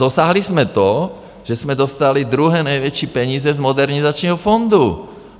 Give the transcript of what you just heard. Dosáhli jsme to, že jsme dostali druhé největší peníze z modernizačního fondu.